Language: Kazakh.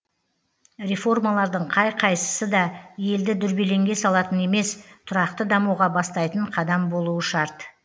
реформалардың қай қайсысы да елді дүрбелеңге салатын емес тұрақты дамуға бастайтын қадам болуы шарт